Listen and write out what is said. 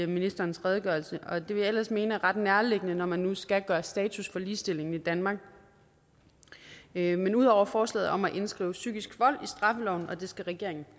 ministerens redegørelse og det ville jeg ellers mene var ret nærliggende når man nu skal gøre status over ligestillingen i danmark men ud over forslaget om at indskrive psykisk vold i straffeloven og det skal regeringen